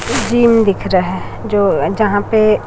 Gym दिख रहा है जो जहां पर।